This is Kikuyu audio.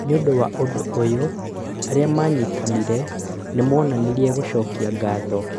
Nĩũndũ wa ũndũ ũyũ, arĩa manyitanĩire nĩmonanirie gũcokia ngatho